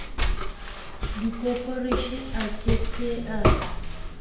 dikoporasi a ke ke a